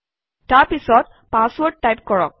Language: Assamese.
তাৰ পিছত পাছৱৰ্ড টাইপ কৰক